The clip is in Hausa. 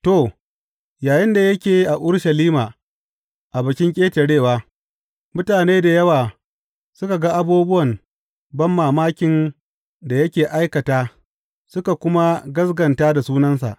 To, yayinda yake a Urushalima a Bikin Ƙetarewa, mutane da yawa suka ga abubuwan banmamakin da yake aikata suka kuma gaskata da sunansa.